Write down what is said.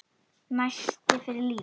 Neisti fyrir lífinu.